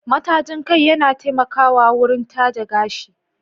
Matajin kai yana taimakawa wurin taje gashi.